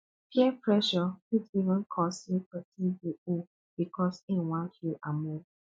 peer pressure fit even cause mek pesin dey owe bikos im wan feel among